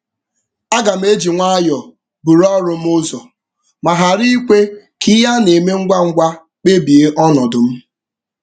Aga m eji nwayọ buru ọrụ m ụzọ ma ghara ikwe ka ihe a na-eme ngwa ngwa kpebie ọnọdụ m.